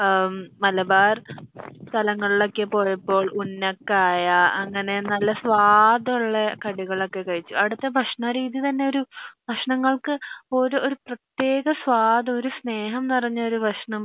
മലബാർ സലങ്ങൾ ഒക്കെ പോയപ്പോ ഉന്നക്കായ അങ്ങനെ നല്ല സ്വാദുള്ള കടികൾ ഒക്കെ കഴിച്ചു അവിടത്തെ ഭക്ഷണരീതി തന്നെ ഒരു ഭക്ഷണങ്ങൾക്ക് ഒരു ഒരു പ്രിതിക സ്വാത് ഒരു സ്നേഹം നിറഞ്ഞൊരു ഭക്ഷണം